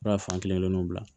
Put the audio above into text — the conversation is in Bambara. Fura fan kelen nun bila